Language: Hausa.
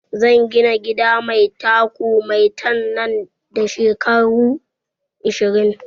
Zan gina gida mai taku maitan nan da shekaru ashirin